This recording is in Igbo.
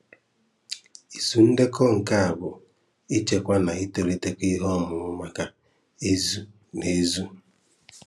Ịzù Ndekọ: Nke a bụ́ ịchekwa na ìtòlitékọ ìhèọ̀mùmà maka ézù na ézù.